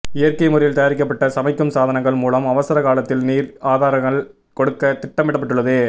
இயற்கை முறையில் தயாரிக்கப்பட்ட சமைக்கும் சாதனங்கள் மூலம் அவசர காலத்தில் நீர் ஆகாரங்கள் கொடுக்க திட்டமிடப்பட்டுள்ளது